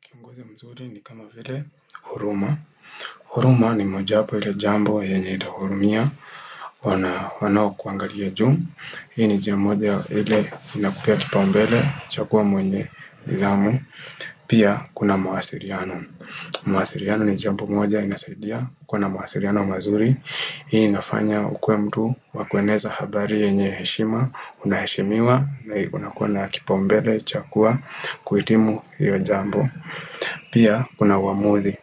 Kiongozi mzuri ni kama vile huruma. Huruma ni mojawapo ya ile jambo yenye itahurumia. Ona wanokuangalia juu. Hii ni njia moja ya ile inakupea kipaumbele, chagua mwenye nidhamu. Pia, kuna mawasiliano. Mwasiliano ni jambo moja inasaidia. Kuwa na mawasiriano mazuri. Hii inafanya ukuwe mtu wa kweneza habari yenye heshima. Una heshimiwa unakuwa na kipaumbele, cha kuwa, kuhitimu hiyo jambo. Pia kuna uamuzi.